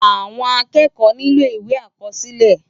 Awòn ákèékò niló iwé ákòsilè